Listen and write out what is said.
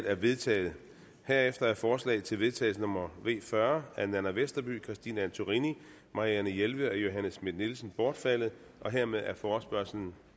er vedtaget herefter er forslag til vedtagelse nummer v fyrre af nanna westerby christine antorini marianne jelved og johanne schmidt nielsen bortfaldet hermed er forespørgslen